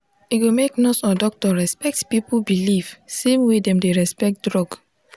e go make nurse or doctor respect people belief same way dem dey respect drug.